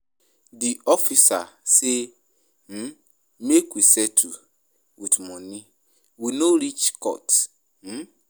Di officer sey um make we settle wit moni, we no reach court. um